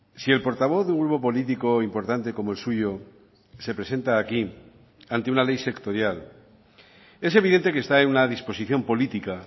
si el portavoz de un grupo político importante como el suyo se presenta aquí ante una ley sectorial es evidente que está en una disposición política